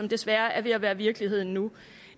desværre er ved at være virkeligheden nu